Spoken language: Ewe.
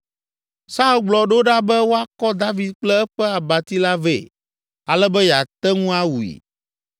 Saul gblɔ ɖo ɖa be woakɔ David kple eƒe abati la vɛ ale be yeate ŋu awui.